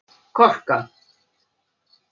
Korka